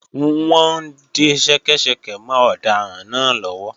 Wọ́n ń de ṣẹ́kẹ́ṣẹkẹ̀ mọ́ ọ̀daràn náà lọ́wọ́